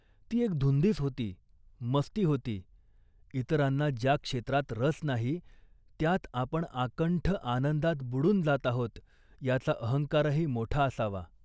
ती एक धुंदीच होती, मस्ती होती. इतरांना ज्या क्षेत्रात रस नाही त्यात आपण आकंठ आनंदात बुडून जात आहोत याचा अहंकारही मोठा असावा